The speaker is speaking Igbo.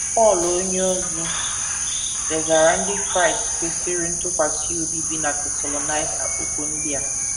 Pọl onyeozi degaara ndị Kraịst kwesịrị ntụkwasị obi bi na Tesalọnaịka okwu ndị a.